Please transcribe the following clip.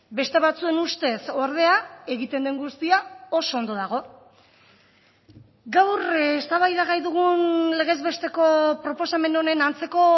beste batzuen ustez ordea egiten den guztia oso ondo dago gaur eztabaidagai dugun legez besteko proposamen honen antzeko